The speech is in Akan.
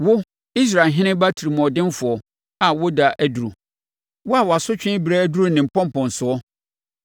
“ ‘Wo, Israel heneba otirimuɔdenfoɔ a wo ɛda aduru. Wo a wo asotwe berɛ aduru ne mpɔnpɔnsoɔ,